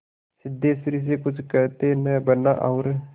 सिद्धेश्वरी से कुछ कहते न बना और